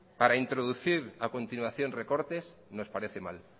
para introducir a continuación recortes nos parece mal